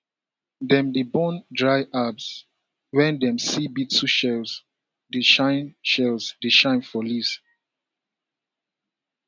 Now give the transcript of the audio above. dem dey burn dry herbs when dem see beetle shells dey shine shells dey shine for leaves